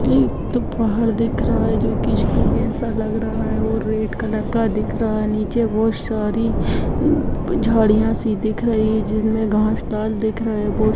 एक तो पहाड़ दिख रहा है जो कि स्‍तूप जैसा लग रहा है और रेड कलर का दिख रहा है नीचे बहोत सारी अ झाड़ियां सी दिख रही हैं जिनमें घास लाल दिख रहे हैं ब --